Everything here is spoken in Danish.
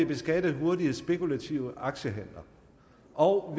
beskatte hurtige spekulative aktiehandler og